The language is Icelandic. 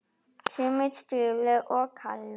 Sömu stöðu og karlar.